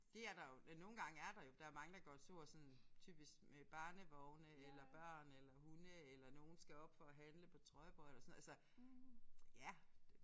Det er der jo nogle gange er der jo. Der er mange der går tur sådan typisk med barnevogne eller børn eller hunde eller nogen skal op for at handle på Trøjborg eller sådan noget altså ja